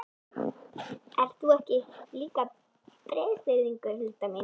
Ert þú ekki líka Breiðfirðingur, Hulda mín?